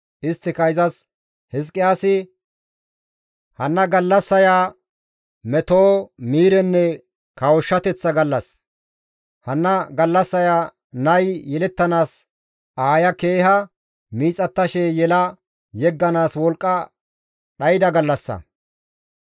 Isttika izas, «Hizqiyaasi, ‹Hanna gallassaya meto, miirenne kawushshateththa gallas; hanna gallassaya nay yelettanaas aaya keeha miixattashe yela yegganaas wolqqa dhayda gallassa.